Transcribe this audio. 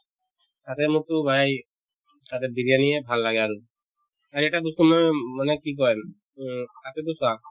তাতে মোকতো brother তাতে বিৰিয়ানী য়ে ভাল লাগে আৰু আৰু এটা বস্তু মানে মানে কি কই উম তাতেতো চোৱা